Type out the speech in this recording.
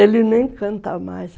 Ele nem canta mais.